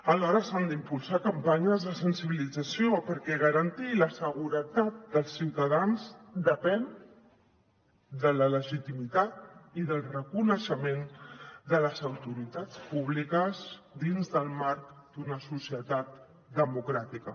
alhora s’han d’impulsar campanyes de sensibilització perquè garantir la seguretat dels ciutadans depèn de la legitimitat i del reconeixement de les autoritats públiques dins del marc d’una societat democràtica